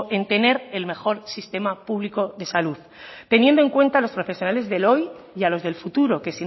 en tener el mejor sistema público de salud teniendo en cuenta los profesionales de hoy y a los del futuro que